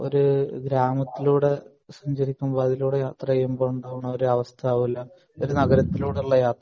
ഒരു ഗ്രാമത്തിലൂടെ സഞ്ചരിക്കുമ്പോൾ അതിലൂടെ സഞ്ചരിക്കുമ്പോൾ ഉണ്ടാവുന്ന അവസ്ഥ ആവൂല ഒരു നഗരത്തിലൂടെയുള്ള യാത്ര